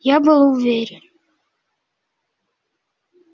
я был уверен